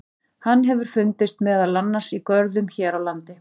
Hann hefur fundist meðal annars í görðum hér á landi.